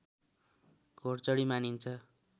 घोडचढी मानिन्छ